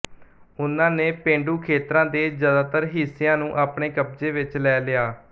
ਉਨ੍ਹਾਂ ਨੇ ਪੇਂਡੂ ਖੇਤਰਾਂ ਦੇ ਜ਼ਿਆਦਾਤਰ ਹਿੱਸਿਆਂ ਨੂੰ ਆਪਣੇ ਕਬਜ਼ੇ ਵਿੱਚ ਲੈ ਲਿਆ